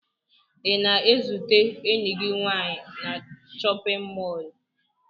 Ị na-ezute enyi gị nwaanyị na chọpịn mọọlụ?